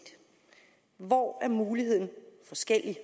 hvor er mulighederne forskellige